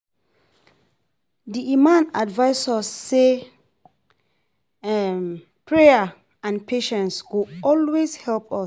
Di imam advice us say prayer and patience go always help us.